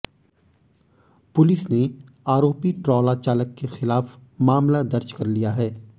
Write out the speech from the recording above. police ने आरोपी ट्रॉला चालक के खिलाफ मामला दर्ज कर लिया है